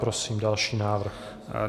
Prosím další návrh.